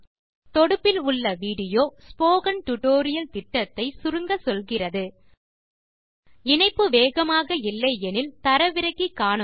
தொடுப்பில் உள்ள video spoken tutorial திட்டத்தை சுருங்கச்சொல்கிறது இணைப்பு வேகமாக இல்லை எனில் தரவிறக்கி காணுங்கள்